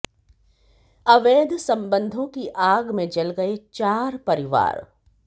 अवैध संबंधों की आग में जल गए चार परिवार